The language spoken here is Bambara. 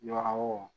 Yɔrɔ wo